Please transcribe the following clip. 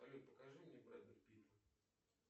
салют покажи мне брэда питта